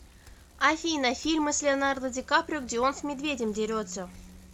афина фильмы с леонардо дикаприо где он с медведем дерется